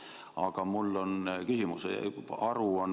Aga mul on küsimus.